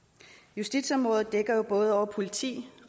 justitsområdet dækker både over politi